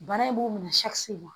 Bana in b'u minɛ